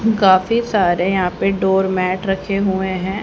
काफी सारे यहां पे डोर मैट रखे हुए हैं।